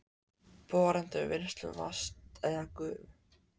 borun til vinnslu vatns eða gufu.